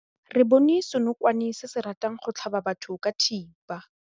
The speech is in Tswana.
Re bone senokwane se se ratang go tlhaba batho ka thipa.